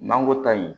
N'an ko ta in